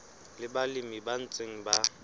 le balemi ba ntseng ba